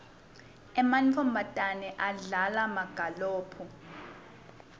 emantfombatana adlala magalophu